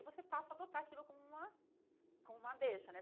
Aí você passa a adotar aquilo como uma como uma deixa, né?